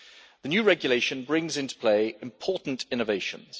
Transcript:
The new regulation brings into play important innovations.